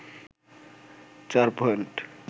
৪ point